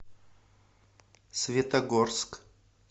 светогорск